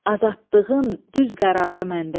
Azadlığın düz qərarı məndədir.